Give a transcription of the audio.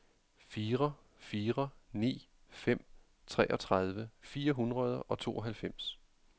fire fire ni fem treogtredive fire hundrede og tooghalvfems